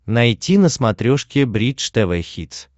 найти на смотрешке бридж тв хитс